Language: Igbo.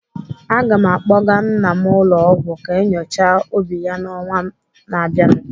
Aga m akpọga nna m ụlọ ọgwụ ka enyochaa obi ya n'ọnwa na abịanụ.